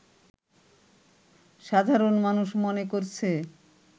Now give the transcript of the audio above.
সাধারণ মানুষ মনে করছে